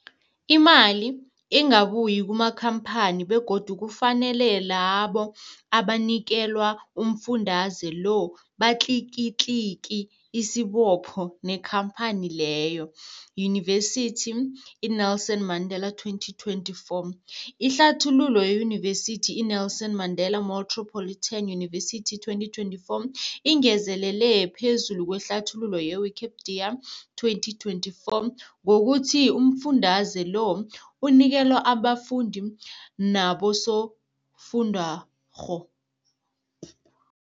Imali ingabuyi kumakhamphani begodu kufanele labo abanikelwa umfundaze lo batlikitliki isibopho neenkhamphani leyo, Yunivesity i-Nelson Mandela 2024. Ihlathululo yeYunivesithi i-Nelson Mandela Metropolitan University, 2024, ingezelele phezu kwehlathululo ye-Wikipedia, 2024, ngokuthi umfundaze lo unikelwa abafundi nabosofundwakgho.